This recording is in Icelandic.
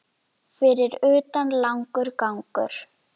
Fyrir utan langur gangur.